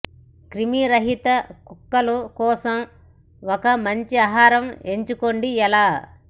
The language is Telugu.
క్రిమిరహితం కుక్కలు కోసం ఒక మంచి ఆహారం ఎంచుకోండి ఎలా